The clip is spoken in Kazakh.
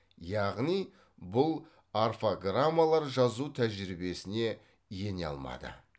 яғни бұл орфограммалар жазу тәжірибесіне ене алмады